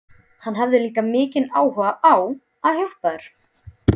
Hann hafði líka mikinn áhuga á að hjálpa mér.